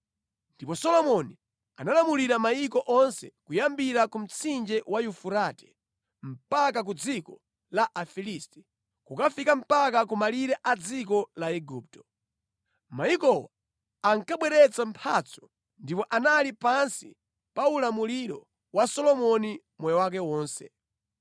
Ndipo Solomoni analamulira mayiko onse kuyambira ku mtsinje wa Yufurate mpaka ku dziko la Afilisti, kukafika mpaka ku malire a dziko la Igupto. Mayikowa ankabweretsa mphatso ndipo anali pansi pa ulamuliro wa Solomoni moyo wake wonse.